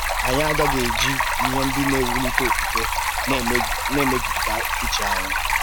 Anyị aghaghị iji ihe ndị na-ewulite okwukwe na-emejupụta uche anyị.